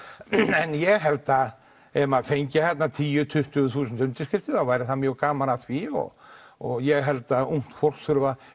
en ég held að ef maður fengi tíu til tuttugu þúsund undirskriftir þá væri mjög gaman að því og og ég held að ungt fólk þurfi að